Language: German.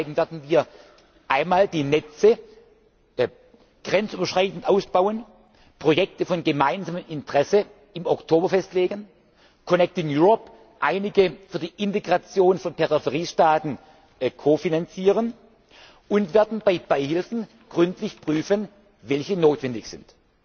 Deswegen werden wir einmal die Netze grenzüberschreitend ausbauen, Projekte von gemeinsamem Interesse im Oktober festlegen Connecting Europe einige für die Integration von Peripheriestaaten kofinanzieren, und wir werden bei Beihilfen gründlich prüfen, welche notwendig